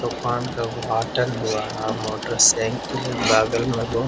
दुकान का उद्घाटन हुआ है मोटर साइकिल है बगल में रूम है।